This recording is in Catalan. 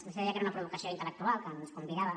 vostè deia que era una provocació intel·lectual que ens convidava